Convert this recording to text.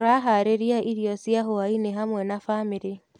Tũraharĩrĩria irio cia hwainĩ hamwe na bamĩrĩ.